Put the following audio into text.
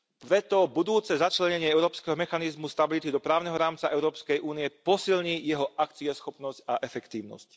Preto budúce začlenenie Európskeho mechanizmu stability do právneho rámca Európskej únie posilní jeho akcieschopnosť a efektívnosť.